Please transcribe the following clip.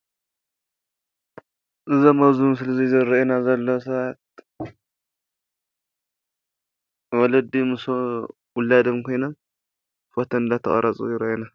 እዞም እብዚ ምስሊ እዚ ዝረእዩና ዘለው ሰባት ወለዲ ምስ ውላዶም ኮይኖም ፎቶ እናተቀረፁ ይረአ አሎ።